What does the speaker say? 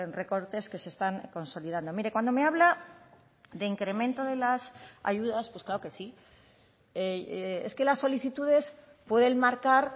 recortes que se están consolidando mire cuando me habla de incremento de las ayudas pues claro que sí es que las solicitudes pueden marcar